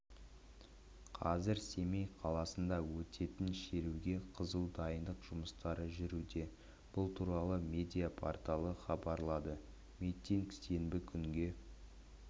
қазір семей қаласында өтетін шеруге қызу дайындық жұмыстары жүруде бұл туралы медиа-порталы хабарлады митинг сенбі күнге